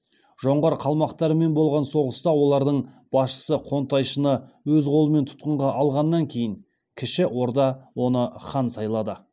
жоңғар қалмақтарымен болған соғыста олардың басшысы қонтайшыны өз қолымен тұтқынға алғаннан кейін кіші орда оны хан сайлады